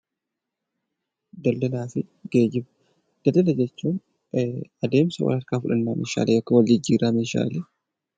Daldala jechuun adeemsa wal harkaa fuudhinsa yookiin wal jijjiirraa meeshaaleedha.